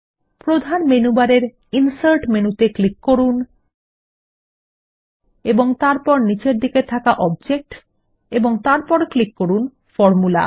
প্রধান মেনু বারের insert menu ত়ে ক্লিক করুন এবং তারপর নীচের দিকে থাকা অবজেক্ট এবং তারপর ক্লিক করুন ফরমুলা